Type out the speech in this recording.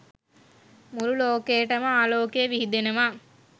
මුළු ලෝකයටම ආලෝකය විහිදෙනවා.